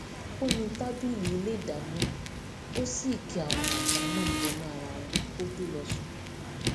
ó nu tábìlì ilé ìdáná ó sì ki àwọn àga náà bọnú ara wọn kó tó lọ sùn